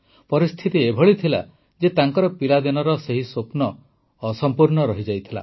ପରିସ୍ଥିତି ଏଭଳି ଥିଲା ଯେ ତାଙ୍କର ପିଲାଦିନର ସେହି ସ୍ୱପ୍ନ ଅସମ୍ପୂର୍ଣ୍ଣ ରହିଯାଇଥିଲା